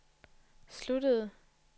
sluttede